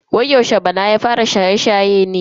Wai yaushe bala ya fara shaye-shaye ne?